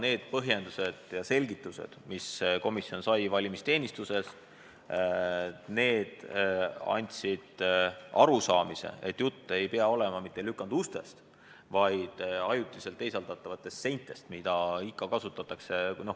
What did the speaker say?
Need põhjendused ja selgitused, mis komisjon valimisteenistuselt sai, tekitasid arusaamise, et jutt ei käi mitte lükandustest, vaid ajutistest teisaldatavatest seintest, mida ikka kasutatakse.